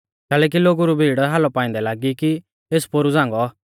कैलैकि लोगु री भीड़ हालौ पाइंदै लागी कि एस पोरु झ़ांगौ